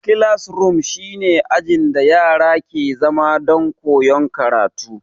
Kilasroom shi ne ajin da yara ke zama don koyan karatu